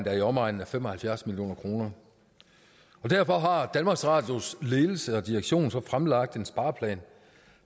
er i omegnen af fem og halvfjerds million kroner derfor har danmarks radios ledelse og direktion så fremlagt en spareplan